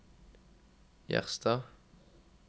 Gjerstad